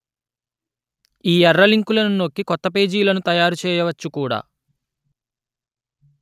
ఈ ఎర్ర లింకులను నొక్కి కొత్త పేజీలను తయారు చెయ్యవచ్చు కూడా